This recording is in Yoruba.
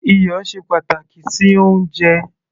iyọ̀ ṣe pàtàkì sí oúnjẹ